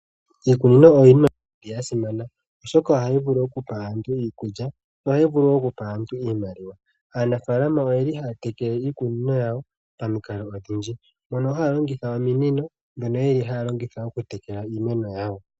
Iikunino oyo iinima ya simana, oshoka ohayi vulu okupa aantu iikulya, nohayi vulu okupa aantu iimaliwa. Aanafaalama oye li haya tekele iikunino yawo pamikalo odhindji mono haa longitha ominino mono yeli haa longitha okutekela iimeno yawo.